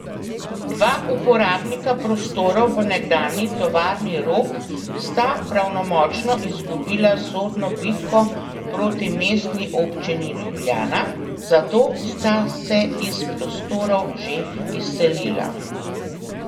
Dva uporabnika prostorov v nekdanji tovarni Rog sta pravnomočno izgubila sodno bitko proti Mestni občini Ljubljana, zato sta se iz prostorov že izselila.